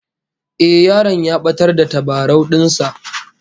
Eh, yaron ya batar da tabarau din sa